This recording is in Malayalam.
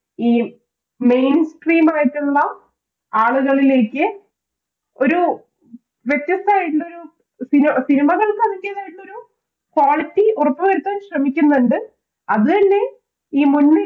ഈ mainscreen ആയിട്ടുള്ള ആളുകളിലേക്ക് ഒരു വ്യത്യസ്തമായിട്ടുള്ളൊരു cinema കൾക്ക് അതിന്റെതായിട്ടുള്ളൊരു Quality ഉറപ്പുവരുത്തുവാൻ ശ്രമിക്കുന്നുണ്ട് അതുതന്നെ ഈ മുൻനിര